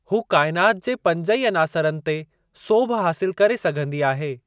हूअ काइनात जे पंज ई अनासरनि ते सोभ हासिल करे सघंदी आहे।